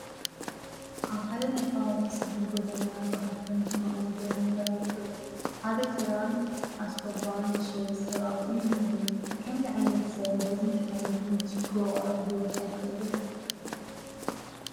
ኣብ ሓደ ናይ ከባቢ ፀቢብ ጐደና ጐሓፍን ሕማቕ ነገርን ይርአዩ ኣለዉ፡፡ ሓደ ጭራን ኣስኮባን ዝሸይጥ ሰብ ኣብኡ እኒሀ፡፡ ከምዚ ዓይነት ሰብ በዚ እንትሓልፍ ምቺ ክውቃዕ ዶ ኣይኽእልን?